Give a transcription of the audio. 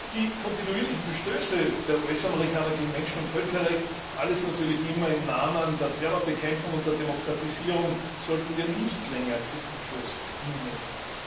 Die kontinuierlichen Verstöße der US Amerikaner gegen Menschen und Völkerrecht alles natürlich immer im Namen der Terrorbekämpfung und der Demokratisierung sollten wir nicht länger kritiklos hinnehmen.